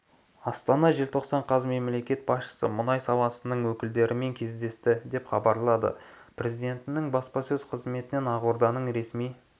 астана желтоқсан қаз мемлекет басшысы мұнай саласының өкілдерімен кездесті деп хабарлады президентінің баспасөз қызметінен ақорданың ресми